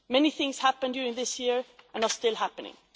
Many things happened this year and are still happening.